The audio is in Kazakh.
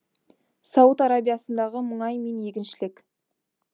сауд арабиясындағы мұнай мен егіншілік